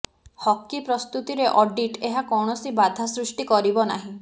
hockey ପ୍ରସ୍ତୁତିରେ audit ଏହା କୌଣସି ବାଧା ସୃଷ୍ଟି କରିବ ନାହିଁ